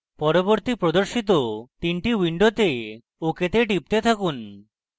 পরবর্তী প্রদর্শিত তিনটি windows ok তে টিপতে থাকুন